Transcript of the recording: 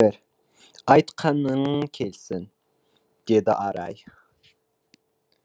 айтқаның келсін деді арай